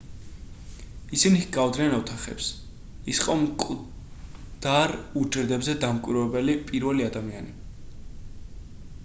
ისინი ჰგავდნენ ოთახებს ის იყო მკვდარ უჯრედებზე დამკვირვებელი პირველი ადამიანი